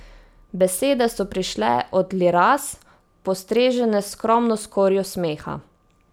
Besede so prišle od Liraz, postrežene s skromno skorjo smeha.